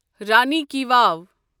رانی ki واو